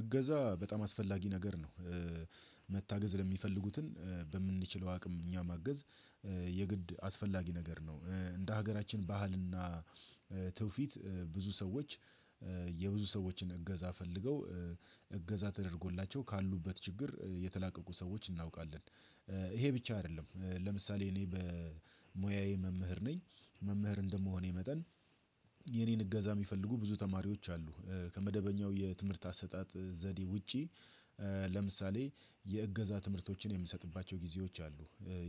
እገዛ በጣም አስፈላጊ ነገር ነው። መታገዝ ለሚፈልጉትን በምንችለው አቅም እኛ ማገዝ የግድ አስፈላጊ ነገር ነው። እንደ ሀገራችን ባህልና ትውፊት ብዙ ሰዎች የብዙ ሰዎችን እገዛ ፈልገው እገዛ ተደርጎላቸው ካሉበት ችግር የተላቀቁ ሰዎች እናውቃለን። ይሄ ብቻ አይደለም ለምሳሌ እኔ በሙያዬ መምህር ነኝ መምህር እንደምሆኔ መጠን የእኔን እገዛ የሚፈልጉ ብዙ ተማሪዎች አሉ ከመደበኛው የትምህርት አሰጣጥ ዘዴ ውጪ ለምሳሌ የእገዛ ትምህርቶችን የምሰጥባቸው ጊዜዎች አሉ።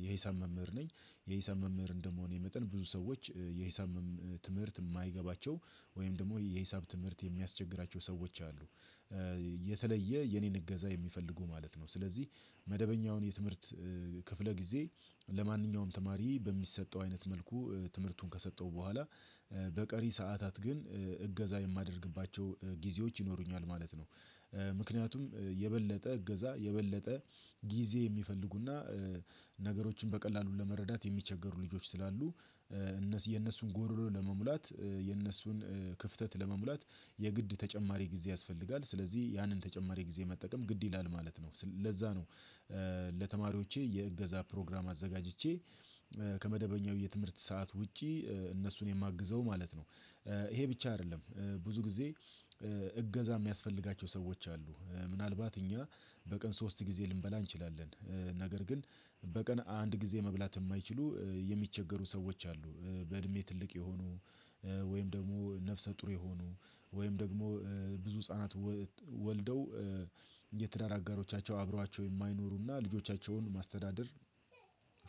የሂሳብ መምህር ነኝ የሂሳብ መምህር እንደመሆኔ መጠን ብዙ ሰዎች የሂሳብ ትምህርት የማይገባቸው ወይም ደግሞ የሂሳብ ትምህርት የሚያስቸግራቸው ሰዎች አሉ የተለየ የኔን እገዛ የሚፈልጉ ማለት ነው ስለዚህ መደበኛውን የትምህርት ክፍለ ጊዜ ለማንኛውም ተማሪ በሚሰጠው አይነት መልኩ ትምህርቱን ከሰጠው በኋላ በቀሪ ሰዓታት ግን እገዛ የማደርግባቸው ጊዜዎች ይኖሩኛል ማለት ነው። ምክንያቱም የበለጠ እገዛ የበለጠ ጊዜ የሚፈልጉና ነገሮችን በቀላሉ ለመረዳት የሚቸገሩ ልጆች ስላሉ የነሱን ጎሮሮ ለመሙላት የነሱን ክፍተት ለመሙላት የግድ ተጨማሪ ጊዜ ያስፈልጋል። ስለዚህ ያንን ተጨማሪ ጊዜ መጠቀም ግድ ይላል ማለት ነው ለዛ ነው ለተማሪዎቼ የእገዛ ፕሮግራም አዘጋጅቼ ከመደበኛው የትምህርት ሰዓት ውጪ እነሱን የማግዘው ማለት ነው። ይሄ ብቻ አይደለም ብዙ ጊዜ እገዛ የሚያስፈልጋቸው ሰዎች አሉ ምናልባት እኛ በቀን ሶስት ጊዜ ልንበላ እንችላለን ነገር ግን በቀን አንድ ጊዜ መብላት የማይችሉ የሚቸገሩ ሰዎች አሉ በእድሜ ትልቅ የሆኑ ወይም ደግሞ ነፍሰ ጡር የሆኑ ወይም ደግሞ ብዙ ህፃናት ወልደው የትዳር አጋሮቻቸው አብሯቸው የማይኖሩና ልጆቻቸውን ማስተዳደር